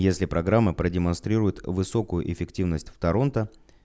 если программа про демонстрирует высокую эффективность в торонто